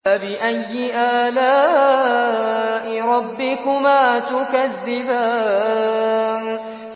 فَبِأَيِّ آلَاءِ رَبِّكُمَا تُكَذِّبَانِ